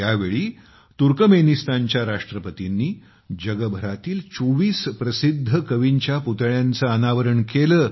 या प्रसंगी तुर्कमेनिस्तानच्या राष्ट्रपतींनी जगभरातील 24 प्रसिद्ध कवींच्या पुतळ्यांचे अनावरण केले